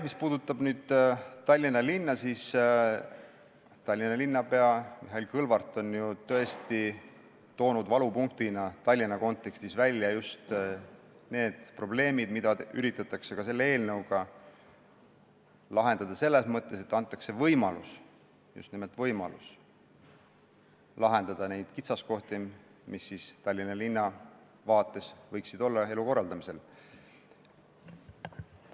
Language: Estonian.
Mis puudutab Tallinna, siis Tallinna linnapea Mihhail Kõlvart on ju tõesti toonud Tallinna kontekstis valupunktina välja just need probleemid, mida üritatakse selle eelnõuga lahendada, selles mõttes, et antakse võimalus – just nimelt võimalus – lahendada neid kitsaskohti, mis Tallinna linna vaates võiksid elu korraldamisel olla.